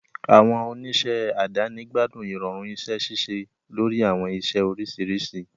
Àwọn oníṣẹ́ àdáni gbádùn ìrọ̀rùn iṣẹ́ ṣíṣe lórí àwọn iṣẹ́ oríṣiríṣi.